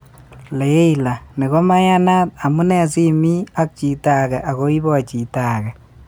Leila:" Ni komeyanat, amune sii imi ak chito age ago ibo chi age